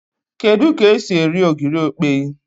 Kedu k'esi eri ogiri okpei